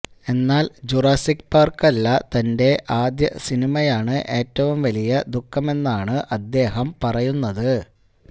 എന്നാല് Jurassic Park അല്ല തന്റെ ആദ്യ സിനിമയാണ് ഏറ്റവും വലിയ ദുഖമെന്നാണ് അദ്ദേഹം പറയുന്നത്